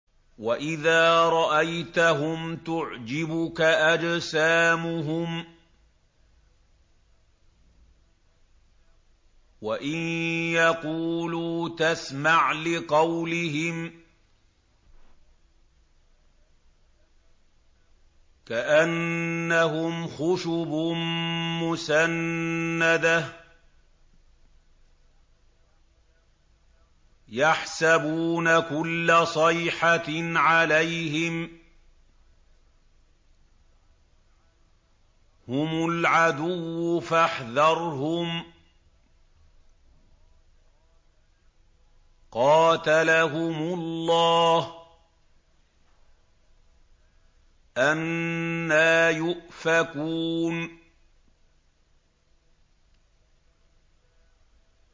۞ وَإِذَا رَأَيْتَهُمْ تُعْجِبُكَ أَجْسَامُهُمْ ۖ وَإِن يَقُولُوا تَسْمَعْ لِقَوْلِهِمْ ۖ كَأَنَّهُمْ خُشُبٌ مُّسَنَّدَةٌ ۖ يَحْسَبُونَ كُلَّ صَيْحَةٍ عَلَيْهِمْ ۚ هُمُ الْعَدُوُّ فَاحْذَرْهُمْ ۚ قَاتَلَهُمُ اللَّهُ ۖ أَنَّىٰ يُؤْفَكُونَ